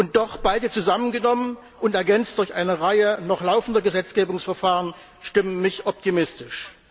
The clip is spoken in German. Und doch beide zusammengenommen und ergänzt durch eine Reihe noch laufender Gesetzgebungsverfahren stimmen mich optimistisch.